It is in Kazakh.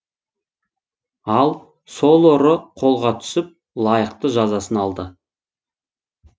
ал сол ұры қолға түсіп лайықты жазасын алды